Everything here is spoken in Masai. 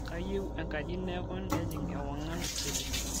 kayieu enkaji neeku nejing' ewang'an kiti